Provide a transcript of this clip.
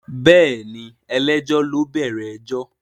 Bẹ́ẹ̀ni ẹlẹ́jọ́ ló bẹ̀rẹ̀ ẹjọ́